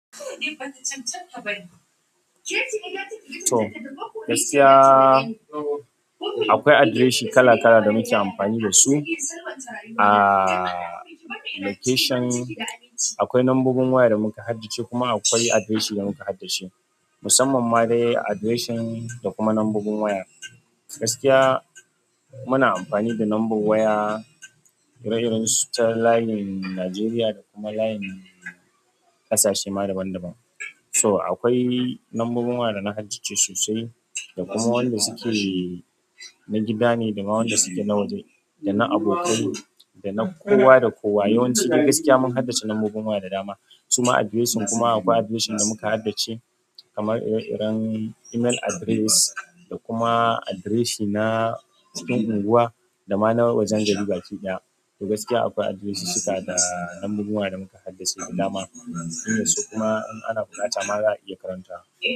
To, gaskiya akwai adireshin kala kala da muke amfani dasu a location. Akwai numbobin waya da muka haddace kuma akwai adireshin da muka haddace, musamman ma dai adireshin da kuma numbobin waya. Gaskiya muna amfani da number waya, ireiren su ta layin Najeriya da kuma layin ƙasashe ma daban daban. So akwai numbobin waya da na haddace sosai da kuma wanda suke na gida neh dama wanda suke na waje dana abokai dana kowa da kowa yawanci dai gaskiya mun haddace numbobin waya da dama, su ma adireshin kuma akwai adireshin da muka haddace kamar ire iren email address da kuma adireshin na cikin unguwa da ma na wajen gari baki ɗaya. To gaskiya akwai adireshin cika da number waya da muka haddace da dama, inda su kuma in ana buƙata ma za'a iya karanta.